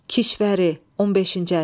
Kişvəri, 15-ci əsr.